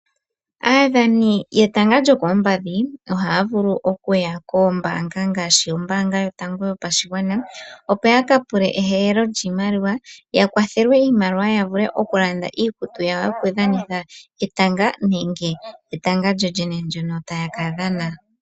Aadhani yetanga lyokoompadhi ohaya vulu okuya kombaanga ngashi ombaanga yotango yopashigwana, opo ya ka pule ehehelo lyiimaliwa, ya kwathelwe iimaliwa ya vule okulanda iikutu yawo yokudhanitha etanga nenge etanga lyoyene ndyono taya ka dhana.